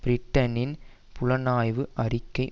பிரிட்டனின் புலனாய்வு அறிக்கை